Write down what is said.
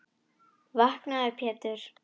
Vaknaðu Pétur.